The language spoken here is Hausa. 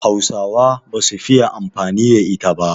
Hausawa ba su fiye amfani da ita ba